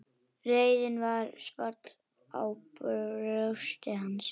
Reiðin svall í brjósti hans.